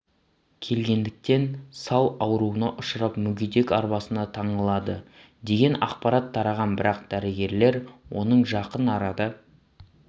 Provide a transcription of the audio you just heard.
келгендіктен сал ауруына ұшырап мүгедек арбасына таңылады деген ақпарат тараған бірақ дәрігерлер оның жақын арада